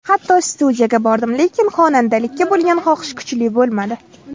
Hatto studiyaga bordim, lekin xonandalikka bo‘lgan xohish kuchli bo‘lmadi.